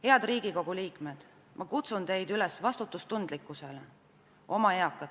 Head Riigikogu liikmed, ma kutsun teid üles vastutustundlikkusele eakate ees!